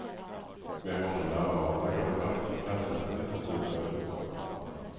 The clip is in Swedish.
Med honom närvarande går det faktiskt att kasta sig huvudstupa utför en brant.